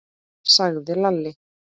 sagði Lalli.